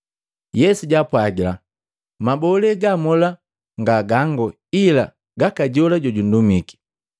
Yesu jaapwagila, “Mabolee ga mola nga gango, ila gaka jola jojundumiki.